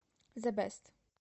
зе бест